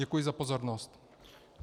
Děkuji za pozornost.